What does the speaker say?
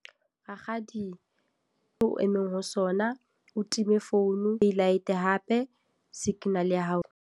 Rakgadi, o emeng ho sona. O time founu, e light hape. Signal ya hao.